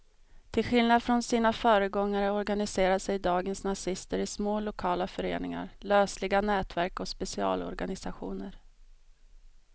Till skillnad från sina föregångare organiserar sig dagens nazister i små lokala föreningar, lösliga nätverk och specialorganisationer.